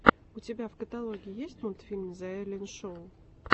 у тебя в каталоге есть мультфильм зе эллен шоу